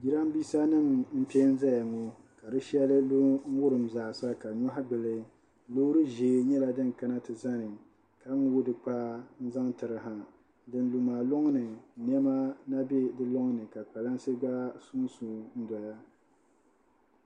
Jirambiisanima m-pe n-zaya ŋɔ ka di shɛli lu n-wurim zaasa ka nyɔhi gbuli loori ʒee nyɛla din kana ti zani ka ŋooi di kpaa zaŋ tiri ha din lu maa lɔŋni nɛma na be di lɔŋni ka kpalansi gba sunsu n-doya.